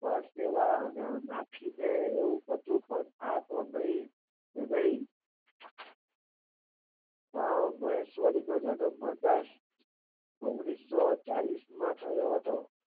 અને નાખી દે એવું બધું બંધ થઈ તો નહિ ઓ જગત નો થઈ ઓગણીસો ચાલીશ માં થયો હતો.